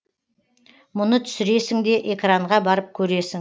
мұны түсіресің де экранға барып көресің